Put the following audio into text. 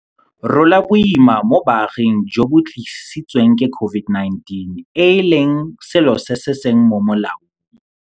Rola Boima mo Baaging jo bo Tlisi tsweng ke COVID-19, e leng selo se se seng mo molaong.